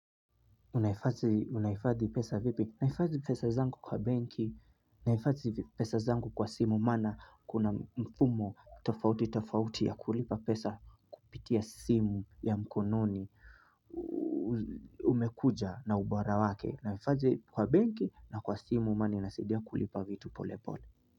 Unahifadhi pesa vipi? Nahifadhi pesa zangu kwa benki. Nahifadhi pesa zangu kwa simu maana kuna mfumo tofauti tofauti ya kulipa pesa kupitia simu ya mkononi. Umekuja na ubara wake. Nahifadhi kwa benki na kwa simu maana inasidia kulipa vitu pole pole.